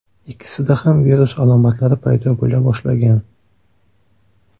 Ikkisida ham virus alomatlari paydo bo‘la boshlagan.